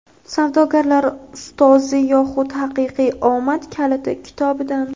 "Savdogarlar ustozi yoxud haqiqiy omad kaliti" kitobidan.